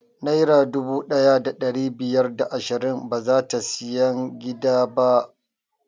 Naira dubu ɗaya da ɗari biyar da ashirin bazata siyan gida ba